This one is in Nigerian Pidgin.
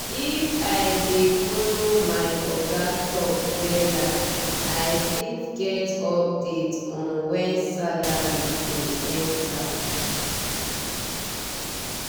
if i dey follow my oga talk wella i fit get update on when salary go enter.